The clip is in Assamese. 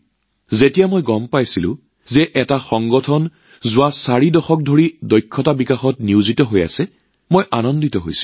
আৰু যেতিয়া গম পালোঁ যে এটা সংস্থাই যোৱা চাৰিটা দশক ধৰি দক্ষতা বিকাশৰ কামত নিয়োজিত হৈ আছে তেতিয়া মোৰ মনটো আৰু ভাল লাগিল